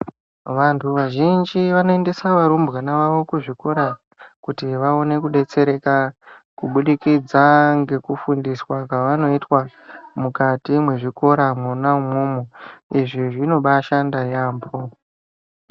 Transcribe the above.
Vantu vazhinji vanoendesa varumbwana vavo kuzvikora kuti vaone kudetsereka kubudikidza ngekufundiswa kwavanoitwa mwukati mwezvikora mwona imwomwo. Izvi zvinobashanda yaambo.